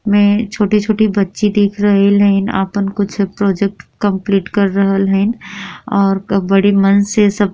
में छोटी-छोटी बच्ची दिख रहल हाई न आपन कुछ प्रोजेक्ट कंप्लीट कर रहल हन और बड़ी मन से सब --